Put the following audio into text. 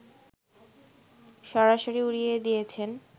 সরাসরি উড়িয়ে দিয়েছেন